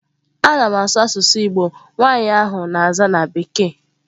A na m asụ n'asusu Igbo, nwanyi ahu na-aza na bekee.